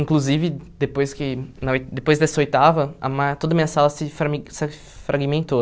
Inclusive, depois que na oi depois dessa oitava, a ma toda a minha sala se frame se fragmentou.